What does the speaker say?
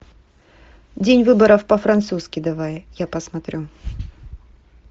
день выборов по французски давай я посмотрю